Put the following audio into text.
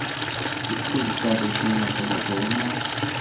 Ikki kun ishladi, keyin yopildi, to‘g‘rimi?